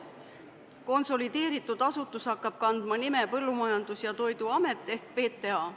Konsolideeritud asutus hakkab kandma nime Põllumajandus- ja Toiduamet ehk PTA.